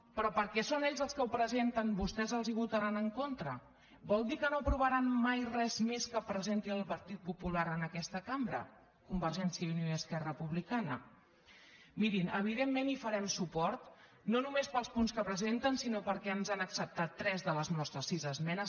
però perquè són ells els que ho presenten vostès els ho votaran en contra vol dir que no aprovaran mai més res que presenti el partit popular en aquesta cambra convergència i unió i esquerra republicana mirin evidentment hi farem suport no només pels punts que presenten sinó perquè ens han acceptat tres de les nostres sis esmenes